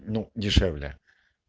ну дешевле